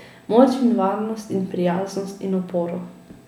Moč in varnost in prijaznost in oporo.